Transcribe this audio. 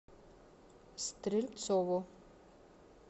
стрельцову